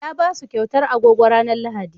Ya ba su kyautar agogo ranar Lahadi.